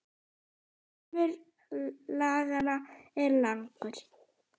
Armur laganna er langur